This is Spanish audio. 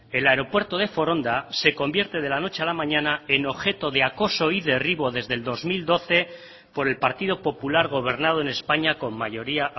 el aeropuerto de foronda se convierte de la noche a la mañana en objeto de acoso y derribo desde el dos mil doce por el partido popular gobernado en españa con mayoría